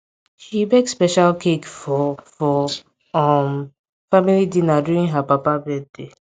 she bake special cake for for um family dinner during her papa birthday